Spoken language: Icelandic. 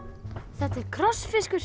þetta er